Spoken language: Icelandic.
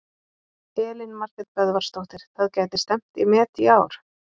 Elín Margrét Böðvarsdóttir: Það gæti stefnt í met í ár?